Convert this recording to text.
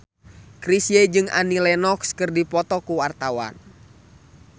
Chrisye jeung Annie Lenox keur dipoto ku wartawan